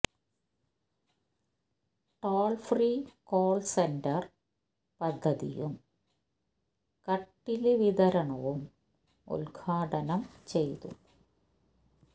troll free call centre പദ്ധതിയും കട്ടില് വിതരണവും ഉദ്ഘാടനം ചെയ്തു